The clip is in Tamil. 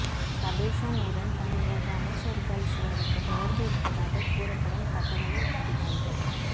சபேஷன் உடன் தமிழக அமைச்சர்கள் சிலருக்கு தொடர்பு இருப்பதாக கூறப்படும் தகவலை அதிகாரிகள்